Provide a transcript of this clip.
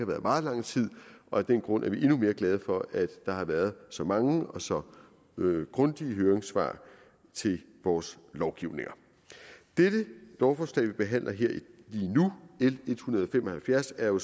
været meget lang tid og af den grund er vi endnu mere glade for at der har været så mange og så grundige høringssvar til vores lovgivninger dette lovforslag vi behandler lige nu l en hundrede og fem og halvfjerds er jo